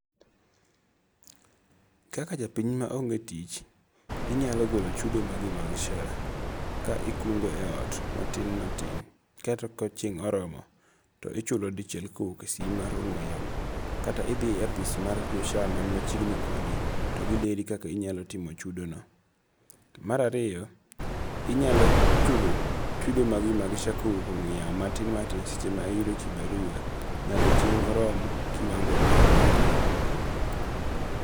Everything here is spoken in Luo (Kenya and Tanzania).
Kaka japiny maonge' tich, inyalo golo chudo magi mag SHA ka ikungo' e ot matin matin kaeto ka chieng' ma oromo to ichulo dichiel ka owuok e simbi mar ang'we yamo, kata ithie e apisi mar jo SHA machiegni kodi to gileri koka inyalo timo chudono. Marariyo inyalo chulo chudo magi mag SHA ka owuok e ong'we yamo matin matis seche ma iyudo kibarua nyaka chieng' orom kiwango' ma idware.